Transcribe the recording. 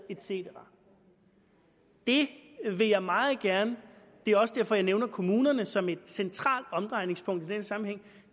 et cetera det vil jeg meget gerne det er også derfor jeg nævner kommunerne som et centralt omdrejningspunkt i den sammenhæng